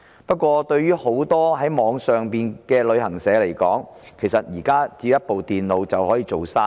不過，對於許多網上旅行社來說，其實現時只要一部電腦便可以做生意。